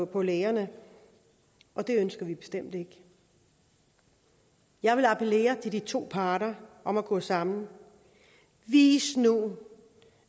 på lægerne og det ønsker vi bestemt ikke jeg vil appellere til de to parter om at gå sammen vis nu